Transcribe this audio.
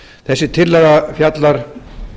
þessi tillaga fjallar